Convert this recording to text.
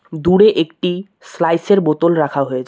দূরে একটি স্লাইস -এর বোতল রাখা হয়েছে।